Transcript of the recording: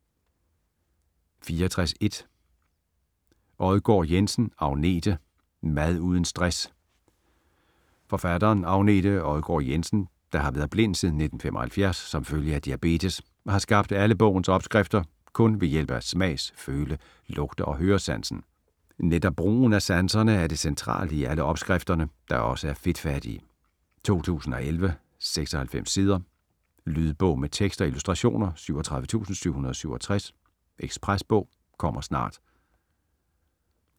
64.1 Odgaard-Jensen, Agnete: Mad uden stress Forfatteren, Agnete Odgaard-Jensen, der har været blind siden 1975 som følge af diabetes, har skabt alle bogens opskrifter kun ved hjælp af smags-, føle-, lugte- og høresansen. Netop brugen af sanserne er det centrale i alle opskrifterne, der også er fedtfattige. 2011, 96 sider. Lydbog med tekst og illustrationer 37767 Ekspresbog - kommer snart